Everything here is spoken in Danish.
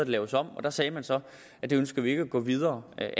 laves om og der sagde man så at det ønskede man ikke at gå videre med